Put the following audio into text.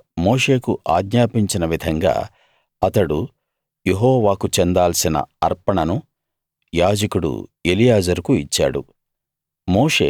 యెహోవా మోషేకు ఆజ్ఞాపించిన విధంగా అతడు యెహోవాకు చెందాల్సిన అర్పణను యాజకుడు ఎలియాజరుకు ఇచ్చాడు